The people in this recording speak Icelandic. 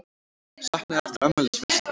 Saknað eftir afmælisveislu